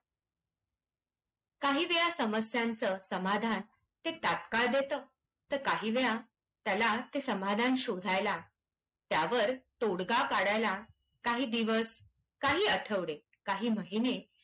काही वेळा समस्यांचं समाधान ते तत्काळ देतं. तर काही वेळा त्याला ते समधान शोधायला त्यावर तोडगा काढायला काही दिवस, काही आठवडे, काही महिने्